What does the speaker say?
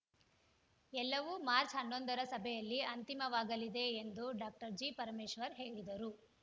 ಎಲ್ಲವೂ ಮಾರ್ಚ್ ಹನ್ನೊಂದರ ಸಭೆಯಲ್ಲಿ ಅಂತಿಮವಾಗಲಿದೆ ಎಂದು ಡಾಕ್ಟರ್ ಜಿ ಪರಮೇಶ್ವರ್ ಹೇಳಿದರು